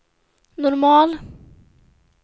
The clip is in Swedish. normal